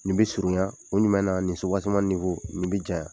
Nin bi surunya kun jumɛn na nin nin bi janya